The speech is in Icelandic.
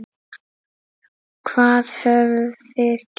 Hvað höfum við gert?